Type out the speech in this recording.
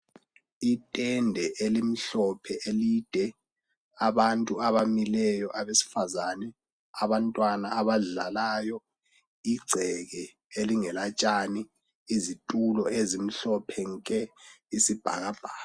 Itende elimhlophe elide, abantu abamileyo abesifazane, abantwana abadlalayo, ingceke elingela tshani, izitulo ezimhlophe nke, isibhakabhaka.